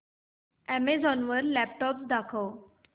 Amazon वर laptops दाखव